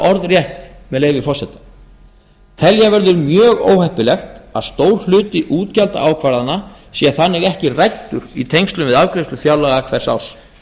orðrétt með leyfi forseta telja verður mjög óheppilegt að stór hluti útgjaldaákvarðana sé þannig ekki ræddur í tengslum við afgreiðslu fjárlaga hvers árs